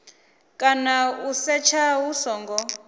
kana u setsha hu songo